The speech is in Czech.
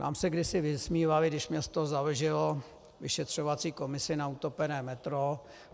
Nám se kdysi vysmívali, když město založilo vyšetřovací komisi na utopené metro.